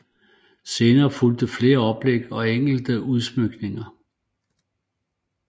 Senere fulgte flere oplæg og enkelte udsmykninger